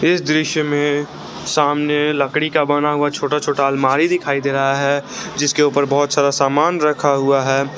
इस दृश्य में सामने लकड़ी का बना हुआ छोटा छोटा अलमारी दिखाई दे रहा है जिसके ऊपर बहुत सारा सामान रखा हुआ है।